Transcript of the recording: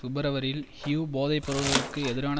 பிப்ரவரியில் ஹியூ போதைப்பொருட்களுக்கு எதிரான